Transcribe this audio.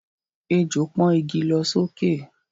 Ejò pọ́n igi lọ sókè